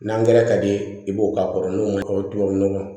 N'an gɛrɛ ka di i ye i b'o k'a kɔrɔ n'o ma k'o tubabu nɔgɔ